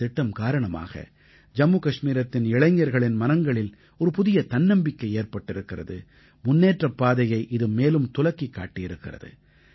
இந்தத் திட்டம் காரணமாக ஜம்மு கஷ்மீரத்தின் இளைஞர்களின் மனங்களில் ஒரு புதிய தன்னம்பிக்கை ஏற்பட்டிருக்கிறது முன்னேற்றப் பாதையை இது மேலும் துலக்கிக் காட்டியிருக்கிறது